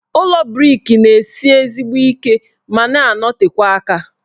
Ụlọ brik na-esi ezigbo ike ma na-anọtekwa aka.